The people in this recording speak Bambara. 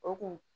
O kun